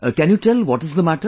Can you tell what is the matter